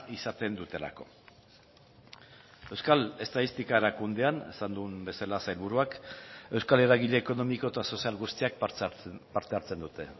izaten dutelako euskal estatistika erakundean esan duen bezala sailburuak euskal eragile ekonomiko eta sozial guztiak parte hartzen dute